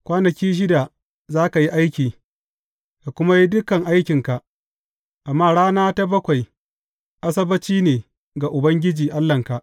Kwanaki shida za ka yi aiki, ka kuma yi dukan aikinka, amma rana ta bakwai, Asabbaci ne ga Ubangiji Allahnka.